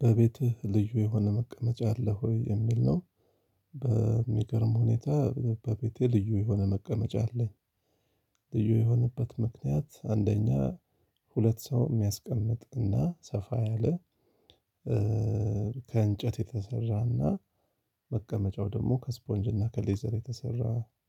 በቤትህ ልዩ የሆነ መቀመጫ አለ ወይ የሚል ነው? በሚገርም ሁኔታ በቤቴ ልዩ የሆነ መቀመጫ አለኝ። ልዩ የሆነበት ምክንያት አንደኛ ሁለት ሰው የሚያስቀምጥ እና ሰፋ ያለ። ከእንጨት የተሰራና መቀመጫው ደግሞ ከስፖንጅና ከሌዘር የተሰራ